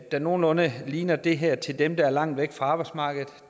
der nogenlunde ligner det her til dem der var langt væk fra arbejdsmarkedet